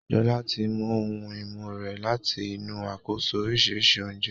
Jola tí mú òun imú rẹ láti inú Àkójọ oríṣi oúnjẹ.